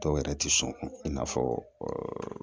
Dɔw yɛrɛ tɛ sɔn i n'a fɔ